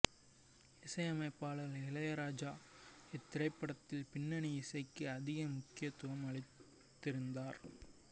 இசையமைப்பாளர் இளையராஜா இத்திரைப்படத்தில் பிண்ணனி இசைக்கே அதிக முக்கியத்துவம் அளித்திருந்தார்